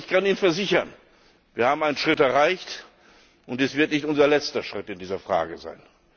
Aber ich kann Ihnen versichern Wir haben einen Schritt erreicht, und es wird nicht unser letzter Schritt in dieser Frage sein.